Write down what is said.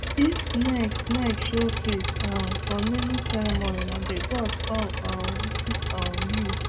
if snake snake show face um for naming ceremony nah the gods con um visit um you